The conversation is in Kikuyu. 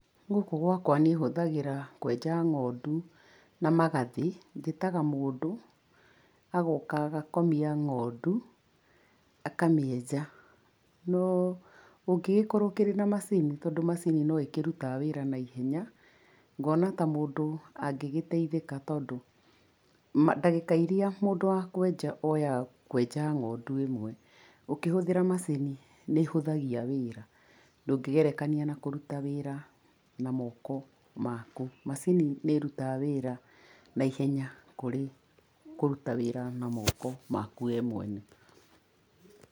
Gũkũ gwakwa niĩ hũthagĩra kwenja ngondu, na magathĩ. Njĩtaga mũndũ, agoka agakomia ngondu, akamĩenja, no ũngĩgĩkorwo ũkĩrĩ na macini tondũ macini no ĩkĩrutaga wĩra naihenya, ngona ta mũndũ, angĩgĩteithĩka tondũ, ndagĩka irĩa mũndũ wa kwenja oyaga kwenja ngondu ĩmwe, ũkĩhũthĩra macini, nĩ ĩhũthagia wĩra, ndũngĩgerekania na kũruta wĩra na moko maku. Macini nĩ ĩrutaga wĩra naihenya kũrĩ kũruta wĩra na moko maku we mwene.